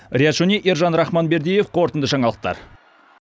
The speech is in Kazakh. риат шони ержан рахманбердиев қорытынды жаңалықтар